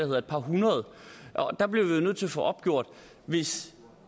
på et par hundrede og der bliver vi nødt til at få opgjort hvis